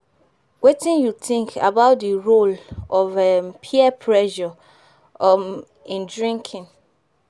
Wetin you think about di role of um peer pressure um in drinking?